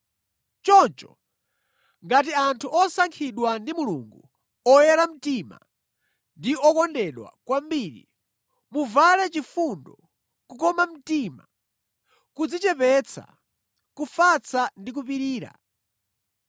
Choncho, ngati anthu osankhidwa ndi Mulungu, oyera mtima ndi okondedwa kwambiri, muvale chifundo, kukoma mtima, kudzichepetsa, kufatsa ndi kupirira.